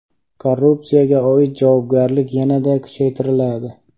Korrupsiyaga oid javobgarlik yanada kuchaytiriladi.